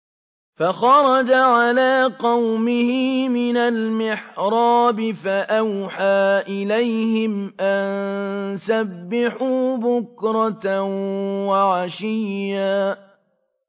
فَخَرَجَ عَلَىٰ قَوْمِهِ مِنَ الْمِحْرَابِ فَأَوْحَىٰ إِلَيْهِمْ أَن سَبِّحُوا بُكْرَةً وَعَشِيًّا